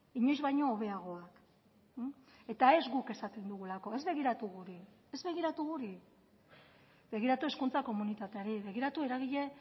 inoiz baino hobeagoak eta ez guk esaten dugulako ez begiratu guri ez begiratu guri begiratu hezkuntza komunitateari begiratu eragile